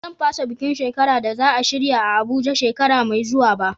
Ba zan fasa bukin shekara da za a shirya a Abuja shekara mai zuwa ba.